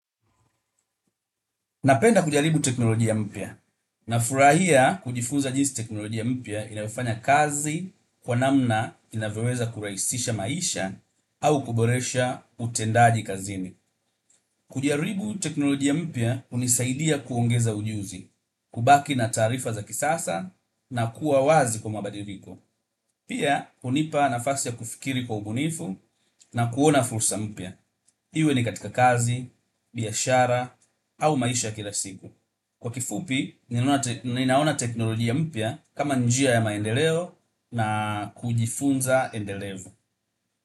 Napenda kujaribu teknolojia mpya. Nafurahia kujifunza jinsi teknolojia mpya inavyofanya kazi kwa namna inavyoweza kurahisisha maisha au kuboresha utendaji kazini. Kujaribu teknolojia mpya hunisaidia kuongeza ujuzi, kubaki na taarifa za kisasa na kuwa wazi kwa mabadiliko. Pia hunipa nafasi ya kufikiri kwa ubunifu na kuona fursa mpya. Hii, iwe ni katika kazi, biashara au maisha ya kila siku. Kwa kifupi, ninaona teknolojia mpya kama njia ya maendeleo na kujifunza endelevu.